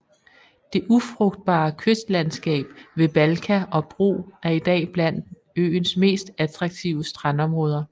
Det ufrugtbare kystlandskab ved Balka og Bro er i dag blandt øens mest attraktive strandområder